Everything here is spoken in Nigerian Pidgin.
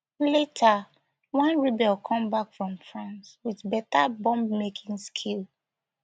later one rebel come back from france wit better bombmaking skills